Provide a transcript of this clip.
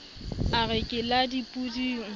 a re ke la dipoding